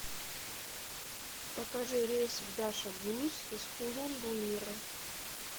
покажи рейс в дашогуз из хулун буира